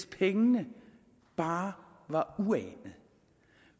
af penge bare var uanet og